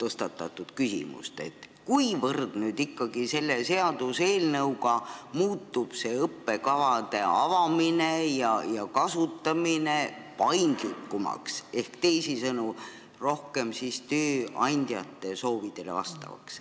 tõstatatud teemat, kuivõrd ikkagi selle seaduseelnõuga muutub õppekavade avamine ja kasutamine paindlikumaks ehk, teisisõnu, rohkem tööandjate soovidele vastavaks.